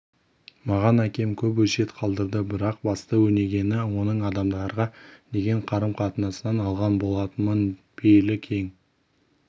маған әкем көп өсиет қалдырды бірақ басты өнегені оның адамдарға деген қарым-қатынасынан алған болатынмын пейілі кең